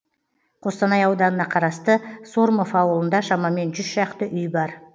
қостанай ауданына қарасты сормов ауылында шамамен жүз шақты үй бар